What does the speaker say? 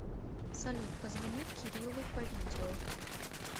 салют позвони кириллу по видео